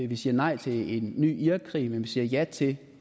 vi siger nej til en ny irakkrig men vi siger ja til